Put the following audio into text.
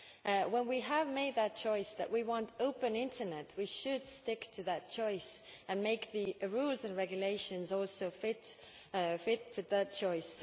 If we have made the choice that we want an open internet, we should stick to that choice and make the rules and regulations fit for that choice.